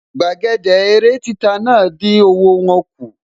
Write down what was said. Gbàgede eré títa náà dín owó wọ́n kù